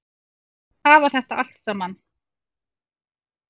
Hafa þetta allt saman?